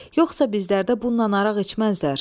Yoxsa bizlərdə bundan araq içməzlər.